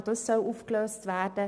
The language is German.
Auch dieses soll aufgelöst werden.